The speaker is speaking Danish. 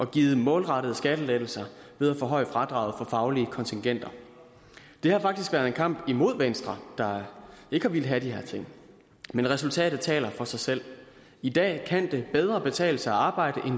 givet målrettede skattelettelser ved at forhøje fradraget for faglige kontingenter det har faktisk været en kamp imod venstre der ikke har villet have de her ting men resultatet taler for sig selv i dag kan det bedre betale sig at arbejde